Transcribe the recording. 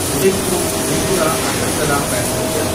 Udaipur Tripura Agartala passenger